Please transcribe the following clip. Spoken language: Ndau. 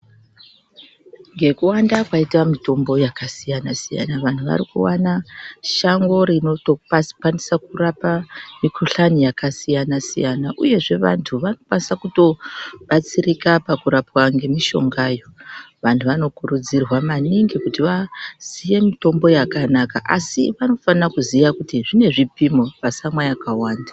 Ngekuwanda kwaita mitombo yakasiyana siyana vanhu varikuwana shango rinotokwanisa kurapa mikuhlani yakasiyana siyana uyezve vantu varikukwanisa kutobatsirika pakurapwa ngemishongayo. Vanhu vanokurudzirwa maningi kuti vaziye mitombo yakanaka asi vanofana kuziya kuti zvine zvipimo, vasamwa vakawanda.